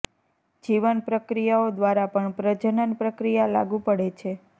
જીવન પ્રક્રિયાઓ દ્વારા પણ પ્રજનન પ્રક્રિયા લાગુ પડે છે